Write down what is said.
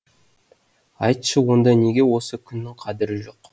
айтшы онда неге осы күні қадірің жоқ